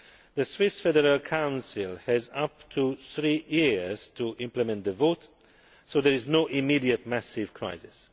The Swiss Federal Council has up to three years to implement the vote, so there is no immediate massive crisis.